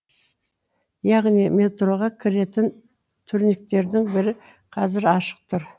яғни метроға кіретін турникеттердің бірі қазір ашық тұр